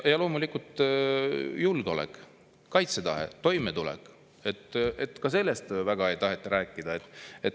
Ja loomulikult, julgeolek, kaitsetahe, toimetulek – ka sellest väga ei taheta rääkida.